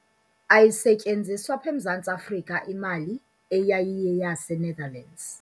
Ayisetyenziswa apha eMzantsi Afrika imali eyayiyeyaseNetherlands.